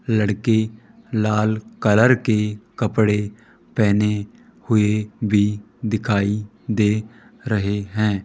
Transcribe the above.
लड़के लाल कलर के कपड़े पहने हुए भी दिखाई दे रहे हैं।